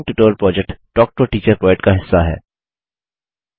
spoken tutorial project talk to a teacher project का हिस्सा है